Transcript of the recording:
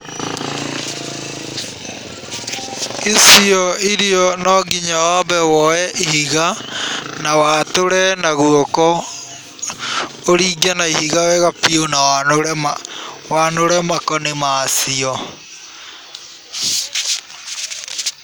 Icio irio no nginya waambe woye ihiga na watũre na guoko, ũringe na ihiga wega biũ na wanũre makoni macio.